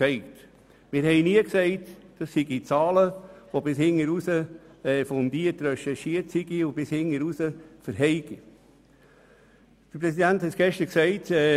Wir haben nie gesagt, dass diese Zahlen bis ins letzte Detail fundiert recherchiert worden seien und bis ganz zum Schluss standhalten würden.